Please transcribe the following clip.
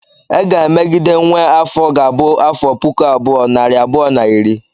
E ga-emegide nwe afọ ga-abụ ‘afọ puku abụọ, nari abụọ na iri’